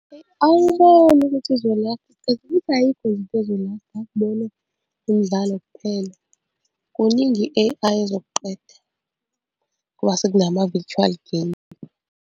Ayi angiboni ukuthi izolasta isikhathi futhi ayikho nje into ezolasta akubona umdlalo kuphela, kuningi i-A_I ezokuqeda ngoba sekunama virtual game.